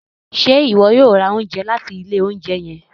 Ṣe iwọ yoo ra ounjẹ lati ile ounjẹ yẹn?